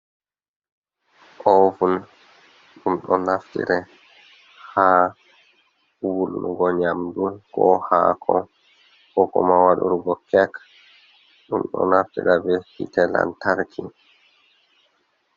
Ovun ɗum ɗo naftira ha wul nugo nyamdu, ko hako, ko kuma waɗurgo kek. Ɗum ɗo naftira ɓe hite lantarki.